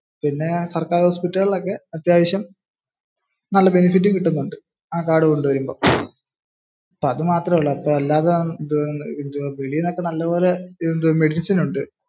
പിന്നെ സർക്കാർ ഓഫീസുകളിൽ ഒക്കെ അത്യാവശ്യം നല്ല benefit കിട്ടുന്നുണ്ട്. ആ കാർഡ് കൊണ്ടുവരുമ്പോ. അപ്പോ അത് മാത്രമേ ഉള്ളു. വെളിയിൽ നിന്നൊക്കെ നല്ലപോലെ medicine ഉണ്ട്.